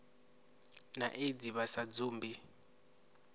na aids vha sa dzumbi